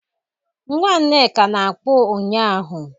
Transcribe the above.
Nwa Nneka na-akpụ ụnyahụ